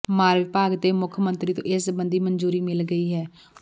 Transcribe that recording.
ਮਾਲ ਵਿਭਾਗ ਤੇ ਮੁੱਖ ਮੰਤਰੀ ਤੋਂ ਇਸ ਸਬੰਧੀ ਮਨਜ਼ੂਰੀ ਮਿਲ ਗਈ ਹੈ